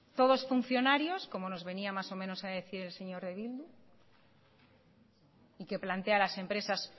todos funcionarios como nos venía más o menos a decir el señor de bildu y que plantea las empresas